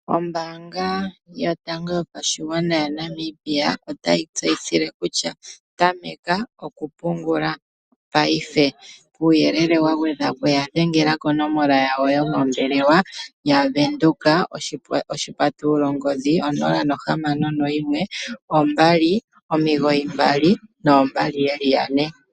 Ombaanga yotango yopashigwana yaNamibia otayi tseyithile kutya tameka okupungula payife .kuuyelele wa gwedhapo ya dhengela konomola yawo yo mombelewa 0612992222.